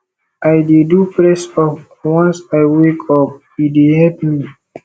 i dey do pressup once i wake up e dey help me